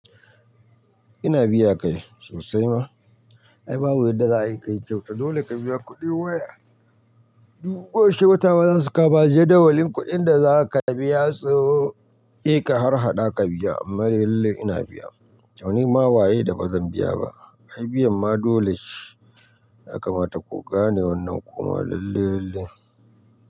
Ina biya kai sosai ma, ai babu yadda za a yi kai kyauta, dole ka biya kuɗi waye? Duk gobe shehu wata bazasu ka ba, jiya dawalin kuɗin da za ka biya sai ka harhaɗa ka biya. Amma lalle ina biya. Tunima waye da bazan biya ba? Ai biyan ma dole ce. Ya kamata ku gane wannan lalle lalle kuma.